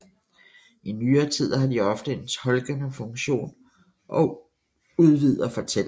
I nyere tid har de ofte en tolkende funktion og udvider fortællingene